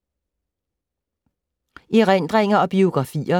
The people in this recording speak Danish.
Erindringer og biografier